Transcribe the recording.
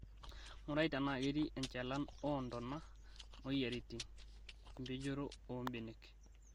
Ng'urai tenaa ketii enchalan oo ntona, moyiaritin (empejoto oo mbenek)